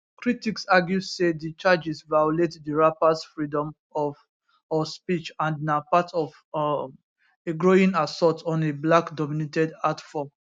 critics argue say di charges violate di rappers freedom of of speech and na part of um a growing assault on a blackdominated art form